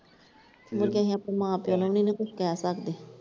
ਮੁੜ ਕੇ ਅਸੀਂ ਆਪਣੇ ਮਾਂ ਪਿਓ ਨੂੰ ਵੀ ਨਈਂ ਨਾ ਕੁਛ ਕਹਿ ਸਕਦੇ।